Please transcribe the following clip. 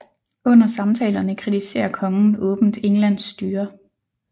Under samtalerne kritiserer kongen åbent Englands styre